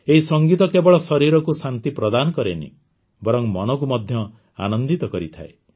ଏହି ସଂଗୀତ କେବଳ ଶରୀରକୁ ଶାନ୍ତି ପ୍ରଦାନ କରେ ନାହିଁ ବରଂ ମନକୁ ମଧ୍ୟ ଆନନ୍ଦିତ କରିଥାଏ